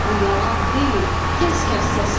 Bu yalan deyil, tez kəs səsini.